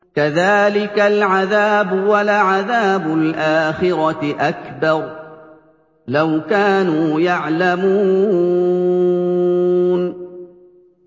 كَذَٰلِكَ الْعَذَابُ ۖ وَلَعَذَابُ الْآخِرَةِ أَكْبَرُ ۚ لَوْ كَانُوا يَعْلَمُونَ